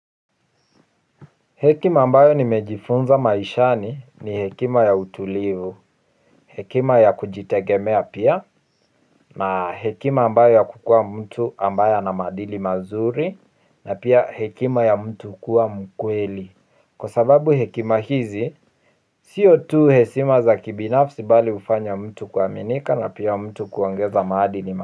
Hekima ambayo nimejifunza maishani ni hekima ya utulivu. Hekima ya kujitegemea pia. Na hekima ambayo ya kukua mtu ambayo ana maadili mazuri. Na pia hekima ya mtu kua mkweli. Kwa sababu hekima hizi siyo tu heshima za kibinafsi bali hufanya mtu kuaminika na pia mtu kuongeza maadili mazuri.